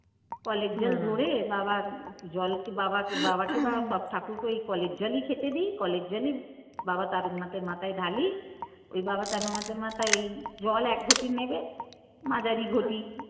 কলের জল বাবার বাবাকে বা সব ঠাকুরকেই ওই কলের জলই খেতে দিই কলের জলই বাবা তারকনাথের মাথায় ঢালি ওই বাবা তারকনাথের মাথাই জল এক ঘটি নেবে মাঝারি ঘটি।